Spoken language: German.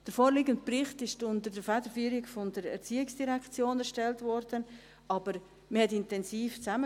Der vorliegende Bericht wurde unter der Federführung der ERZ erstellt, aber man arbeitete intensiv zusammen.